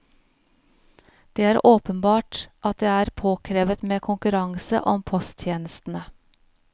Det er åpenbart at det er påkrevet med konkurranse om posttjenestene.